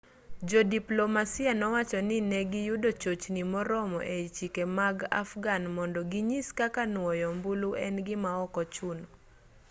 jodiplomasia nowacho ni negiyudo chochni moromo e chike mag afghan mondo ginyis kaka nuoyo ombulu en gima okochuno